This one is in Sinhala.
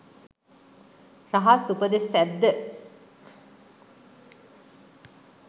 රහස් උපදෙස් ඇද්ද